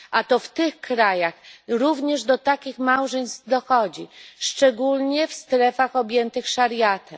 A to w tych krajach również do takich małżeństw dochodzi, szczególnie w strefach objętych szariatem.